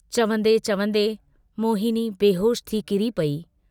चवन्दे चवन्दे मोहिनी बेहोश थी किरी पेई।